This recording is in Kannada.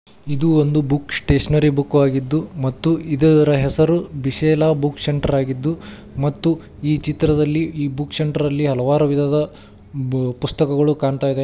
ಇದು ಒಂದು ಬುಕ್ ಸ್ಟೇಷನರಿ ಬುಕ್ ಆಗಿದ್ದು ಮತ್ತು ಇದರ ಹೆಸರು ಬಿಸಿಲ ಬುಕ್ಸ್ ಸೆಂಟರ್ ಆಗಿದ್ದು ಮತ್ತು ಈ ಚಿತ್ರದಲ್ಲಿ ಈ ಬುಕ್ಸ್ ಸೆಂಟ್ರ ಲ್ಲಿ ಹಲವಾರು ವಿಧದ ಬು- ಪುಸ್ತಕಗಳು ಕಾಣ್ತಾ ಇದೆ.